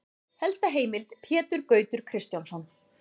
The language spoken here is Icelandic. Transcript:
Helsta heimild: Pétur Gautur Kristjánsson.